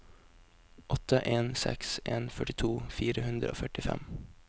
åtte en seks en førtito fire hundre og førtifem